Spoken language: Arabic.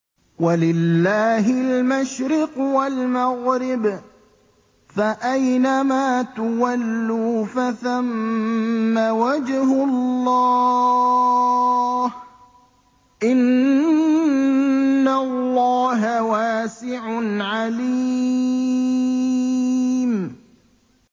وَلِلَّهِ الْمَشْرِقُ وَالْمَغْرِبُ ۚ فَأَيْنَمَا تُوَلُّوا فَثَمَّ وَجْهُ اللَّهِ ۚ إِنَّ اللَّهَ وَاسِعٌ عَلِيمٌ